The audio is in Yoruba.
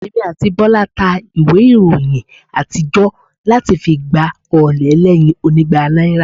Èmi àti Bọ́lá ta ìwé ìròyìn àtijọ́ láti fi gba ọ̀ọ̀lẹ̀ ẹlẹ́yin onígba náírà